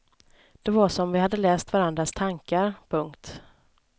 Det var som om vi hade läst varandras tankar. punkt